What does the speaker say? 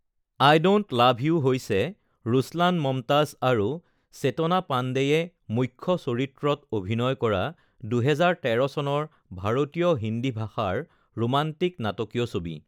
I don't love you হৈছে ৰুছলান মমতাজ আৰু চেতনা পাণ্ডেয়ে মুখ্য চৰিত্ৰত অভিনয় কৰা ২০১৩ চনৰ ভাৰতীয় হিন্দী ভাষাৰ ৰোমান্টিক নাটকীয় ছবি৷